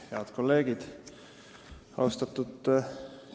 Head kolleegid!